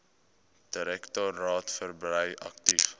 direktoraat verbrei aktief